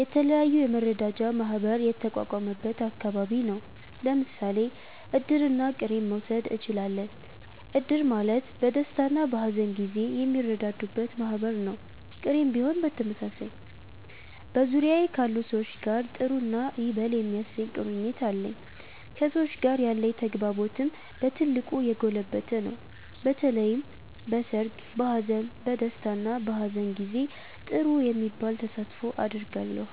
የተለያዩ የመረዳጃ ማህበር የተቋቋመበት አከባቢ ነው። ለምሳሌ እድርና ቅሬን መዉሰድ እችላለን። እድር ማለት በደስታና በሀዘን ጊዜ የሚረዳዱበት ማህበር ነው፤ ቅሬም ቢሆን በተመሳሳይ። በዙሪያዬ ካሉ ሰዎች ጋር ጥሩ እና ይበል የሚያሰኝ ቁርኝት አለኝ። ከሰዎች ጋር ያለኝ ተግባቦትም በ ትልቁ የጎለበተ ነው። በተለይም በሰርግ፣ በሃዘን፣ በ ደስታ እና በሃዘን ጊዜ ጥሩ የሚባል ተሳትፎ አደርጋለሁ።